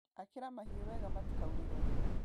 Akĩra mahiũ wega matikaurĩrwo.